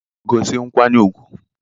gosi nkwanye ugwu!